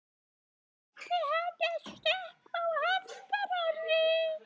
Átti hann að stökkva á eftir henni?